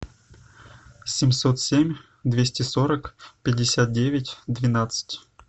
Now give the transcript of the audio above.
семьсот семь двести сорок пятьдесят девять двенадцать